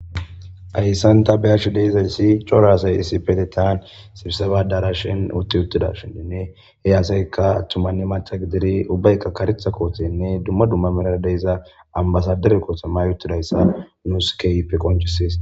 Ayssanta be ashu deizayssi coraasay isipete taan sibiseba dara shin utti uttidashininne he aasaykka attummanne matha gidiri ubbaykka karitha koothenne dumma dumma merara deyiza ambasadere kootammayuttidayssa nu skeype qonchisis.